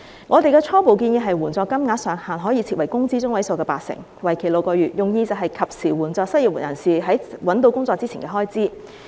我們的初步建議是援助金額上限可以設為工資中位數的八成，為期6個月，用意是及時援助失業人士在找到工作前的開支。